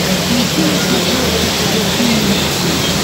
включи на смотрешке тв три эйч ди